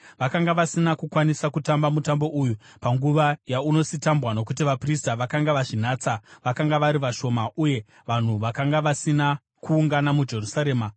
Vakanga vasina kukwanisa kutamba mutambo uyu panguva yaunositambwa nokuti vaprista vakanga vazvinatsa vakanga vari vashoma uye vanhu vakanga vasina kuungana muJerusarema.